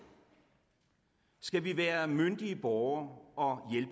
skal vi være myndige borgere og